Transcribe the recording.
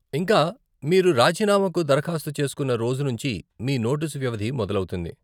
ఇంకా, మీరు రాజీనామాకు దరఖాస్తు చేసుకున్న రోజు నుంచి మీ నోటీసు వ్యవధి మొదలౌతుంది.